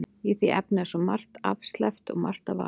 Í því efni er svo margt afsleppt og margt að varast.